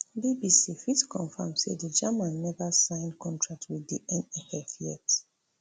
bbc fit confam say di german neva sign contract wit di nff yet